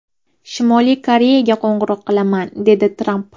Shimoliy Koreyaga qo‘ng‘iroq qilaman”, dedi Tramp.